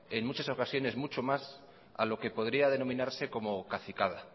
en muchas ocasiones muchos más a lo que podría denominarse como cacicada